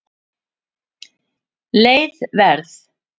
Leið Verð